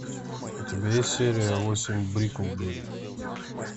у тебя есть серия восемь бриклберри